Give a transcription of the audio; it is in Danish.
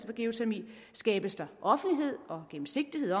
for geotermi skabes der offentlighed og gennemsigtighed